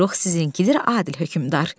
Buyruq sizinkidir, Adil hökmdar.